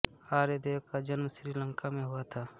आर्यदेव का जन्म श्री लंका में हुआ था